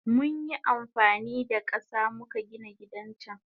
Munyi amfanida kasa muka Gina gidan can.